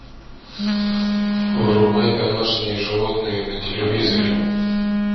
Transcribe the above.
врубай домашние животные на телевизоре